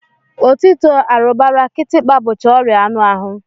Otito, arụrụbara, kịtịkpa bụcha ọrịa anụahụ